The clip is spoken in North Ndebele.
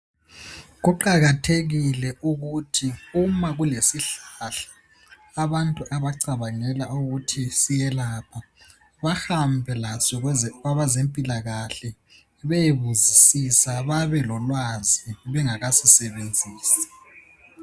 Kuqakathekile ukuthi uma kulesihlahla abantu abacabangela ukuthi siyelapha, bahambe laso kwabazempilakahle beyebuzisisa babe lolwazi bengakasisebenzisi.